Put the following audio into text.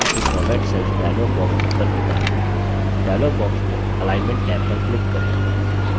आप देखेंगे कि format cells dialog box open होता है डायलॉग बॉक्स में alignment टैब पर क्लिक करें